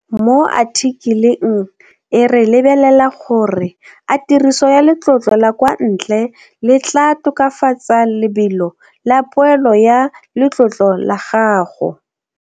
Mo athikeleng e re lebelela gore a tiriso ya letlotlo la kwa ntle le tlaa tokafatsa lebelo la poelo ya letlotlo la gago.